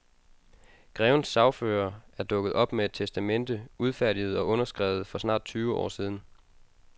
Grevens sagfører er dukket op med et testamente, udfærdiget og underskrevet for snart tyve år siden.